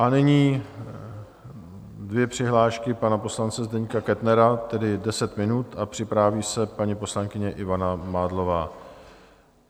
A nyní dvě přihlášky pana poslance Zdeňka Kettnera, tedy deset minut, a připraví se paní poslankyně Ivana Mádlová.